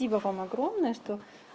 ибо вам огромное что